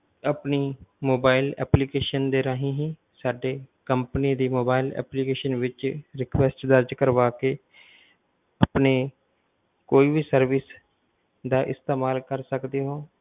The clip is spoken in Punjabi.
ਆਪਣੀ mobile application ਰਾਹੀਂ ਹੀ ਸਾਡੀ company ਦੀ mobile application ਵਿੱਚ request ਦਰਜ਼ ਕਰਵਾ ਕੇ ਆਪਣੇ ਕੋਈ ਵੀ service ਦਾ ਇਸਤੇਮਾਲ ਕਰ ਸਕਦੇ ਹੋ।